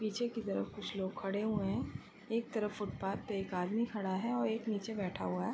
पीछे की तरफ कुछ लोग खड़े हुए हैं। एक तरफ फुटपाथ पर एक आदमी खड़ा है और एक नीचे बैठा हुआ है।